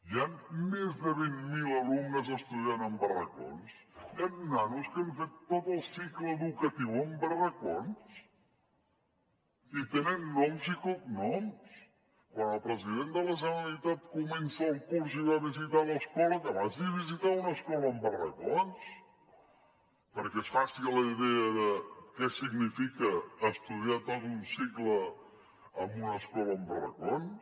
hi han més de vint mil alumnes estudiant en barracons hi han nanos que han fet tot el cicle educatiu en barracons i tenen noms i cognoms quan el president de la generalitat comença el curs i va a visitar l’escola que vagi a visitar una escola amb barracons perquè es faci la idea de què significa estudiar tot un cicle en una escola amb barracons